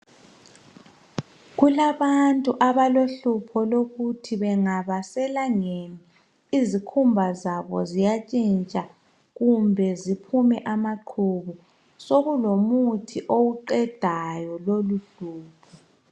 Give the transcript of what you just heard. Kulabantu abalokhupho lokuthi bengaba selangeni izikhumba zabo ziyatshintsha kumbe ziphume amaqhubu sokulomuthi owuqedayo loluhlupho.